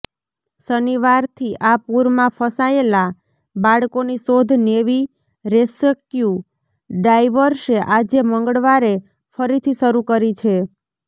શનિવારથી આ પૂરમાં ફસાયેલા બાળકોની શોધ નેવી રેસ્ક્યૂ ડાઇવર્સે આજે મંગળવારે ફરીથી શરૂ કરી છે